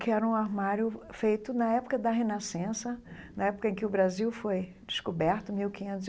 que era um armário feito na época da Renascença, na época em que o Brasil foi descoberto, mil quinhentos e.